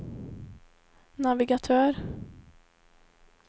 navigatör